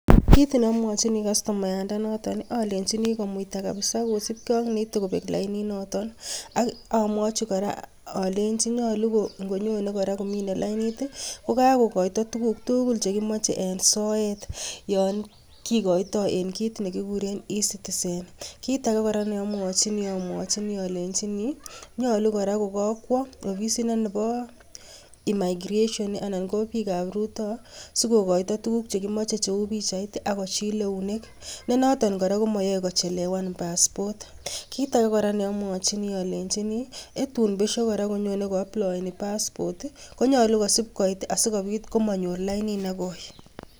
Kit neomwochi. kastomayaat noton, alenyini komuita kabisa, kosiibge ak neite kobek lainit notok. Ak amwochi kora alenyi yoche ingonyone komine lainit I,kakogoito tuguuk tugul chekimoche en soet yon kikoito en kiit nekikurenn ecitizen. Kitage kora neomwochini amwochini alenyini nyole kora ko kogwo ofisit Nebo immigration anan ko nebo book ab rutoo sikokoitoo tuguuk chekimoche cheu pichait ak kochil eunek. Nenoton kora komoyoe kochelewan passport. Kitage kora neomwochini alenyini yetu nyone kora besho koapploeni passport konyolu kosiit koit sikomonyor lainit nekoi kokeny